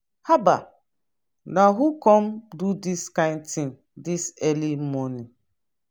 haba! na who come do dis kin thing dis early morning.